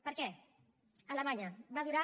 per què alemanya va durar